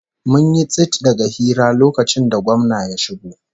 Mun yi tsit daga hira lokacin da gwamna ya shigo